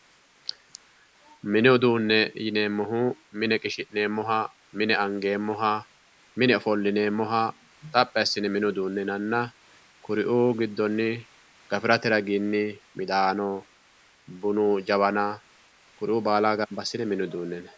Mini uduune yineemmohu mine qishi'neemmoha, mine angeemmoha, mine ofollineemmoha xaphi assine mini uduune yinnanna kuriuu giddonni gafirate raginni midaano bunu jawanna kuriu baalla gamba assine mini uduune yinnanni.